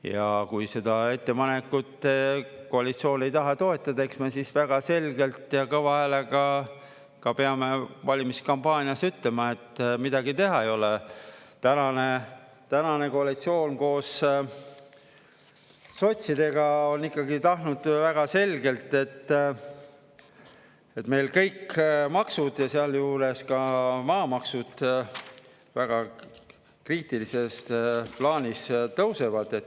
Ja kui seda ettepanekut koalitsioon ei taha toetada, eks me siis väga selgelt ja kõva häälega ka peame valimiskampaanias ütlema, et midagi teha ei ole, tänane koalitsioon koos sotsidega on ikkagi tahtnud väga selgelt, et meil kõik maksud – ja sealjuures ka maamaksud – väga kriitilises plaanis tõusevad.